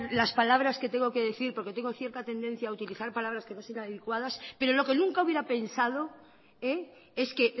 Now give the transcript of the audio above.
las palabras que tengo que decir porque tengo cierta tendencia a utilizar palabras que no son adecuadas pero lo que nunca hubiera pensado es que